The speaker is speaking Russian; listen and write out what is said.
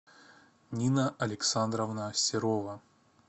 нина александровна серова